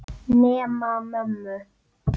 Bjarni Stefán.